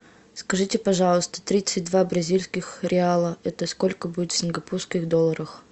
скажите пожалуйста тридцать два бразильских реала это сколько будет в сингапурских долларах